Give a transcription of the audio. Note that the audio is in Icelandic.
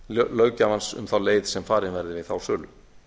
löggjafans um þá leið sem farin verður við þá sölu